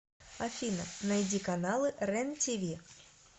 афина найди каналы рен тиви